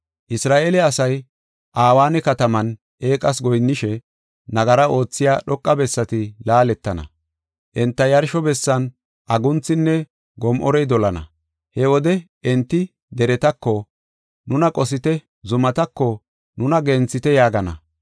Isra7eele asay Aweena kataman eeqas goyinnishe, nagara oothiya dhoqa bessati laaletana. Enta yarsho bessan agunthinne gom7orey dolana. He wode enti deretako, “Nuna qosite!” zumatako, “Nuna genthite” yaagana.